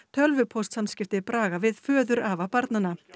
tölvupóstsamskipti Braga við föðurafa barnanna